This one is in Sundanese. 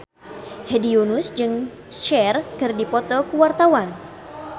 Hedi Yunus jeung Cher keur dipoto ku wartawan